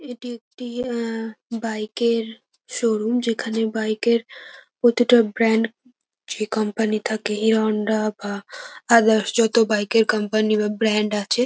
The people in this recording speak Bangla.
এটি একটি আ বাইক -এর শোরুম যেখানে বাইক -এর প্রতিটা ব্র্যান্ড যে কোম্পানি থাকে হিরো হোন্ডা বা আদারস যত বাইক -এর কোম্পানি বা ব্র্যান্ড আছে।